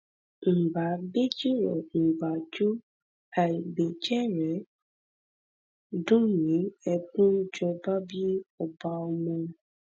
ǹ bá ǹ bá jó àìbéjẹ̀ní dùn mí ẹdùnjọbabí ọba ọmọ